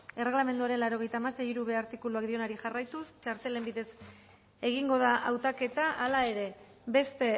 erregelamenduaren laurogeita hamasei puntu hirub artikuluak dioenari jarraituz txartelen bidez egingo da hautaketa hala ere beste